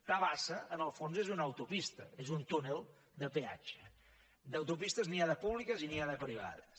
tabasa en el fons és una autopista és un túnel de peatge d’autopistes n’hi ha de públiques i n’hi ha de privades